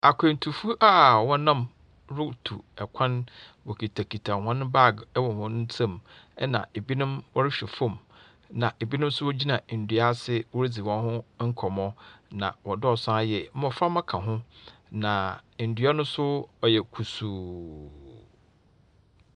Akwantufoɔ a wɔnam rutu kwan. Wɔhitakita hɔn bag wɔ hɔn nsam, ɛnna ebinom wɔrehwɛ fam, na ebinom nso wogyina ndua ase wɔredzi wɔn ho nkɔmmɔ, na wɔdɔɔso ara yie. Mmɔframba ka ho, na ndua no nso ɔyɛ kusuu.